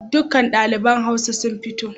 Duka ɗaliban Hausa su fito.